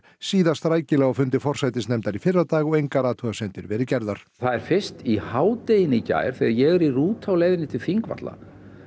síðast rækilega í fyrradag og engar athugasemdir hafi verið gerðar það er fyrst í hádeginu í gær þegar ég er í rútu á leiðinni til Þingvalla